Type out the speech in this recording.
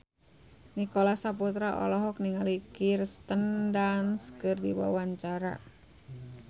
Nicholas Saputra olohok ningali Kirsten Dunst keur diwawancara